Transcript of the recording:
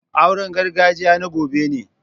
Auren gargajiya na gobe ne.